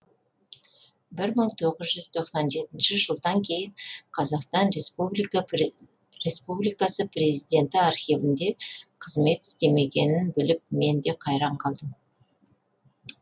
бір мың тоғыз жүз тоқсан жетінші жылдан кейін қазақстан республикасы президенті архивінде қызмет істемегенін біліп мен де қайран қалдым